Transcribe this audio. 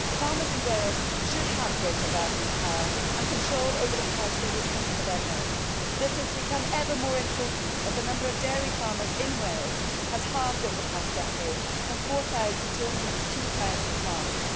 Farmers in Wales should have greater bargaining power and control over the price they receive for their milk. This has become ever more important as the number of dairy farmers in Wales has halved over the past decade, from 4000 to 2000 farms.